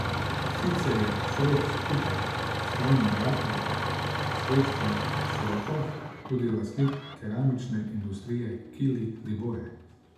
Sicer je Šrot skupaj s svojim bratom Srečkom Šrotom tudi lastnik keramične industrije Kili Liboje.